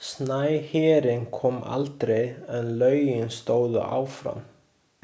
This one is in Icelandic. Snæhérinn kom aldrei en lögin stóðu áfram.